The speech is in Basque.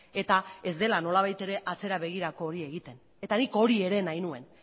eta ez dela nolabait ere atzera begirako hori egiten eta nik hori ere nahi nuen